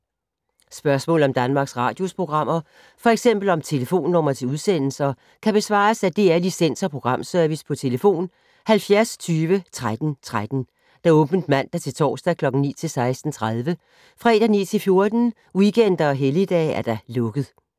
Spørgsmål om Danmarks Radios programmer, f.eks. om telefonnumre til udsendelser, kan besvares af DR Licens- og Programservice: tlf. 70 20 13 13, åbent mandag-torsdag 9.00-16.30, fredag 9.00-14.00, weekender og helligdage: lukket.